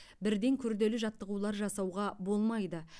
бірден күрделі жаттығулар жасауға болмайды